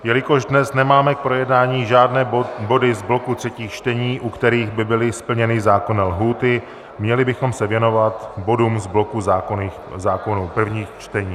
Jelikož dnes nemáme k projednání žádné body z bloku třetích čtení, u kterých by byly splněny zákonné lhůty, měli bychom se věnovat bodům z bloku zákonů prvních čtení.